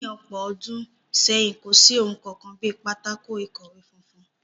Ní ọ̀pọ̀ ọdún sẹ́yìn, kò sí ohun kankan bí pátákó-ikọwe funfun